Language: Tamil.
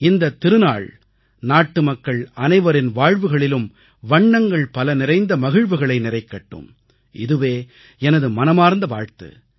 இந்தத் திருநாள் நாட்டுமக்கள் அனைவரின் வாழ்வுகளிலும் வண்ணங்கள்பல நிறைந்த மகிழ்வுகளை நிறைக்கட்டும் இதுவே எனது மனமார்ந்த வாழ்த்து